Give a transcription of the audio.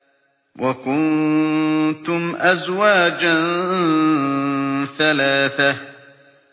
وَكُنتُمْ أَزْوَاجًا ثَلَاثَةً